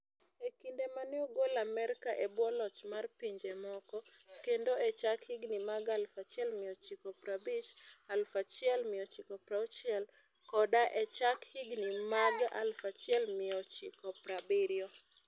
E kinde ma ne ogol Amerka e bwo loch mar pinje moko, kendo e chak higini mag 1950, 1960, koda e chak higini mag 1970.